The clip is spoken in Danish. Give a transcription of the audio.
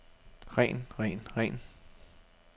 ren ren ren